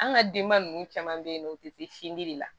An ka denba ninnu caman bɛ yen nɔ u tɛ se sindi de la